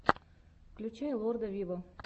включай лорда виво